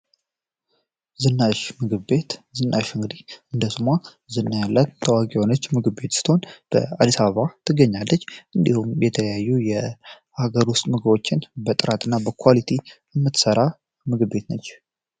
ዝናሽ ምግብ ቤት ዝናሽ እንግዲ እንደስሟ ዝና ያለት ታዋቂ የሆነች ምግብ ቤት ስትሆን በ አዲሳቫ ትገኛለጅ እንዲሁም የተለያዩ የሀገር ውስጥ ምግዎችን በጥራት እና በኳሊቲ ምትሠራ ምግብ ቤት ነች።